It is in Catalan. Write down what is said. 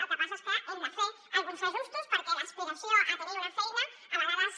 el que passa és que hem de fer alguns ajustos perquè l’aspiració a tenir una feina a vegades